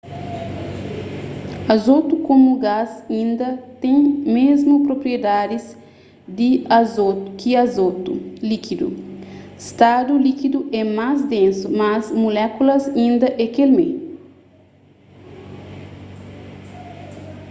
azotu komu gás inda ten mésmu propriedadis ki azotu likidu stadu likidu é más densu mas mulékulas inda é kel mé